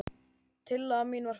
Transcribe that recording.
Tillaga mín var felld.